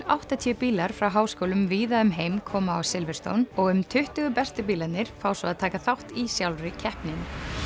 áttatíu bílar frá háskólum víða um heim koma á og um tuttugu bestu bílarnir fá svo að taka þátt í sjálfri keppninni